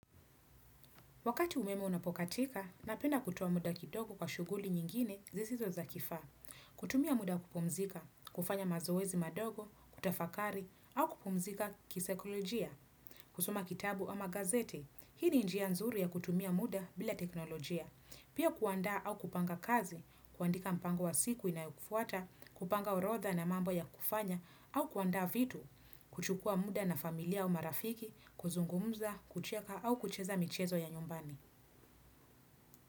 Wakati umeme unapokatika, napenda kutoa muda kidogo kwa shughuli nyingine zisizo za kifaa. Kutumia muda wa kupumzika, kufanya mazoezi madogo, kutafakari, au kupumzika kisaikolojia. Kusoma kitabu ama gazeti, hii ni njia nzuri ya kutumia muda bila teknolojia. Pia kuandaa au kupanga kazi, kuandika mpango wa siku inayo kufuata, kupanga orodha na mambo ya kufanya, au kuandaa vitu kuchukua muda na familia au marafiki kuzungumza, kucheka au kucheza michezo ya nyumbani.